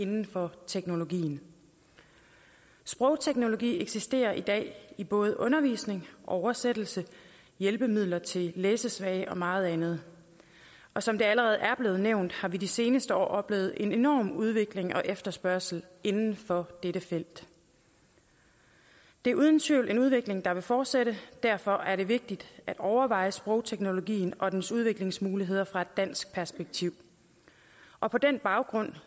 inden for teknologien sprogteknologi eksisterer i dag i både undervisning oversættelse hjælpemidler til læsesvage og meget andet og som det allerede er blevet nævnt har vi i de seneste år oplevet en enorm udvikling og efterspørgsel inden for dette felt det er uden tvivl en udvikling der vil fortsætte og derfor er det vigtigt at overveje sprogteknologien og dens udviklingsmuligheder set fra et dansk perspektiv og på den baggrund